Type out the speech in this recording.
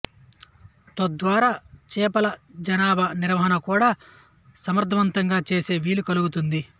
తద్వారా చేపల జనాభా నిర్వహణ కూడా సమర్ధవంతంగా చేసే వీలు కలుగుతుంది